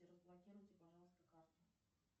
разблокируйте пожалуйста карту